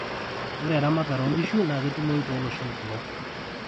ore eramatare oo nkishu naa ketumoi too loshon kumok